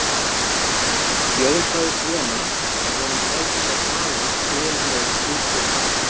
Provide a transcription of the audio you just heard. Jón sagðist vona að honum tækist að tala bölmóð úr fólki.